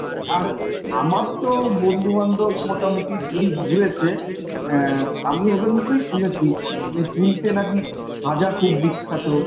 আর আমার তো বন্ধুবান্ধব মোটামুটি পুরী ঘুরেছে অ্যা আমি ওদের মুখেই শুনেছি যে পুরীতে নাকি খাজা খুব বিখ্যাত।